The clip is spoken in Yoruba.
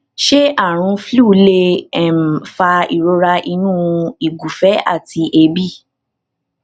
ṣé àrùn flu lè um fa ìrora inu ìgufe àti eebi